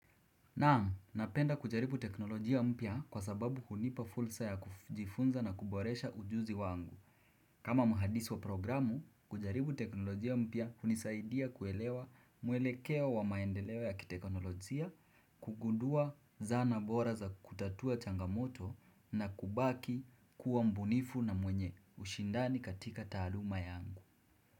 Na, napenda kujaribu teknolojia mpya kwa sababu hunipa fursa ya kujifunza na kuboresha ujuzi wangu. Kama muhadisi wa programu, kujaribu teknolojia mpya hunisaidia kuelewa mwelekeo wa maendeleo ya kitekonolojia, kugundua zana bora za kutatua changamoto na kubaki kuwa mbunifu na mwenye ushindani katika taluma yangu.